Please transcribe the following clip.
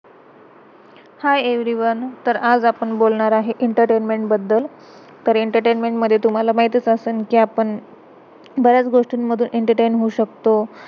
हाय hi everyone everyone. तर आज आपण बोलणार आहे, एंटरटेनमेंट entertainment बद्दल. तर एंटरटेनमेंट entertainment मधे, तुम्हाला माहितच असल कि, आपण बऱ्याच गोष्टीन मधून एंटरटेन entertain होऊ शकतो.